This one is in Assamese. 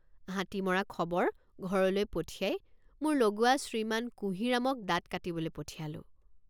হাতী মৰা খবৰ ঘৰলৈ পঠিয়াই মোৰ লগুৱা শ্ৰীমান কুঁহিৰামক দাঁত কাটিবলৈ পঠিয়ালোঁ।